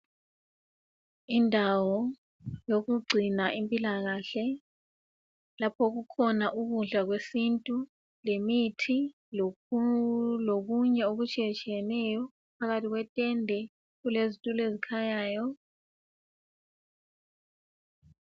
Indawo yokugcina impilakahle lapho okukhona ukudla kwesintu lemithi lokunye okutshiyatshiyeneyo. Phakathi kwetende kulezitulo ezikhanyayo.